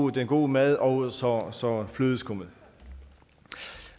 den gode mad og så så flødeskummen